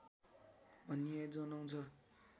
भन्ने जनाउँछ